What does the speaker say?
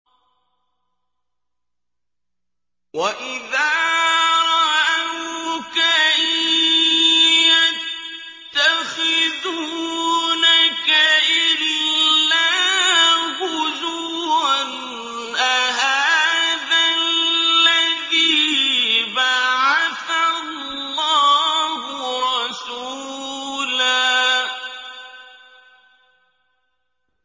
وَإِذَا رَأَوْكَ إِن يَتَّخِذُونَكَ إِلَّا هُزُوًا أَهَٰذَا الَّذِي بَعَثَ اللَّهُ رَسُولًا